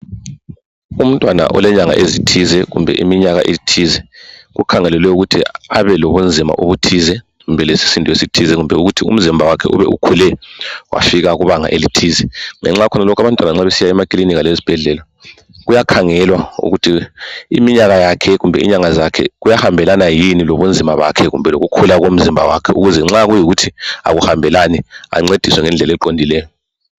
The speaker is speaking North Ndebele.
Umntwana olenyanga ezithize kumbe iminyaka ethize kukhangelelwe ukuthi abelobunzima obuthize kumbe lesisindo esithize kumbe ukuthi umzimba wakhe ube ukhule wafika kubanga elithize. Ngenxa yalokhu abantwana nxa besiya emakilinika lezibhedlela kuyakhangelwa ukuthi iminyaka yakhe kumbe inyanga zakhe kuyahambelana yini lobunzima bakhe kumbe lokukhula komzimba wakhe ukuze nxa kungahambelani ancediswe ngokuqondileyo.